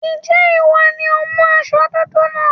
Ǹjẹ́ ìwọ ni ó mú aṣọ dúdú náà?